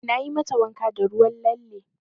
Nayi mata wanka da ruwan lalle.